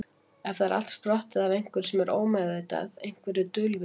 Er það allt sprottið af einhverju sem er ómeðvitað, einhverju dulvituðu?